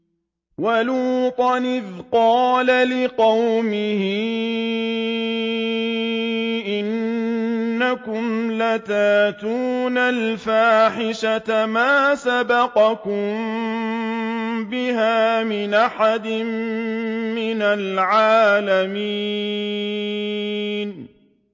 وَلُوطًا إِذْ قَالَ لِقَوْمِهِ إِنَّكُمْ لَتَأْتُونَ الْفَاحِشَةَ مَا سَبَقَكُم بِهَا مِنْ أَحَدٍ مِّنَ الْعَالَمِينَ